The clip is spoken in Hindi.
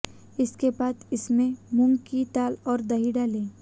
इसके बाद इसमें मूंग की दाल और दही डालें